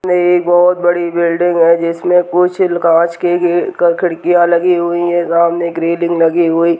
में एक बहोत बड़ी बिल्डिंग है जिसमे कुछ कांच के गे कड़ खिडकिया लगी हुई है सामने एक रेलिंग लगी हुई --